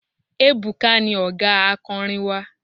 Ebuka ni ọ̀gá akọrin wa.